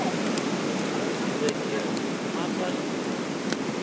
be ke re mmatswale o